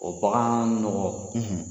O bagan nɔgɔn, .